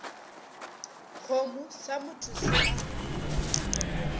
kgomo sa motho se a